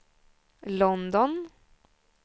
London